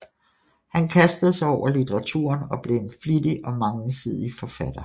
Han kastede sig over litteraturen og blev en flittig og mangesidig forfatter